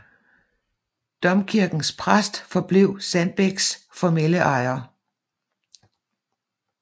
Domkirkens præst forblev Sandbæks formelle ejer